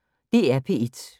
DR P1